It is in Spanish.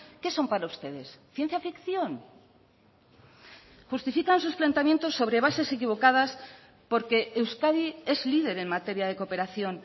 qué son para ustedes ciencia ficción justifican sus planteamientos sobre bases equivocadas porque euskadi es líder en materia de cooperación